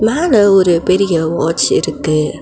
மேல ஒரு பெரிய வாட்ச் இருக்கு.